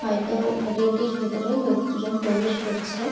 হয়তো হোটেল -টির ভেতরে লোক দুজন প্রবেশ করছে।